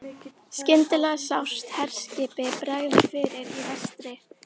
Skyndilega sást herskipi bregða fyrir í vestri.